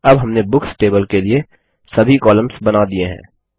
अब हमने books table के लिए सभी कॉलम्स बना दिये हैं